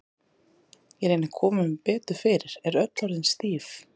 Ég reyni að koma mér betur fyrir, er öll orðin stíf.